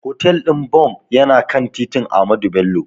Hotel ɗin Bon yana kan titin Ahmadu Bello.